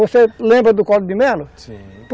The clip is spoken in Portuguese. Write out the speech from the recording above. Você lembra do Collor de Melo? Sim.